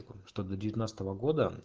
что до девятнадцатого года